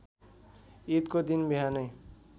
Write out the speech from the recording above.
ईदको दिन बिहानै